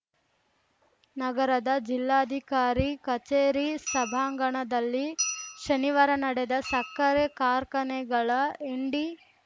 ನಗರದ ಜಿಲ್ಲಾಧಿಕಾರಿ ಕಚೇರಿ ಸಭಾಂಗಣದಲ್ಲಿ ಶನಿವಾರ ನಡೆದ ಸಕ್ಕರೆ ಕಾರ್ಖಾನೆಗಳ ಎಂಡಿ